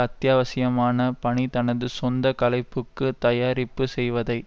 அத்தியாவசியமான பணி தனது சொந்த கலைப்புக்கு தயாரிப்பு செய்வதை